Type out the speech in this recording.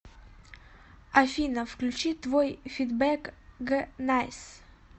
афина включи твой фидбэк г найс